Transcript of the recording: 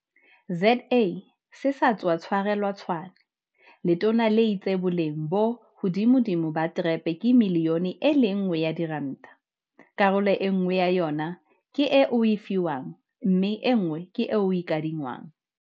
ZA se sa tswa tshwarelwa Tshwane, letona le itse boleng bo hodimodimo ba TREP ke miliyone e le nngwe ya diranta, karolo enngwe ya yona ke e o e fiwang mme enngwe ke e o e kadi ngwang.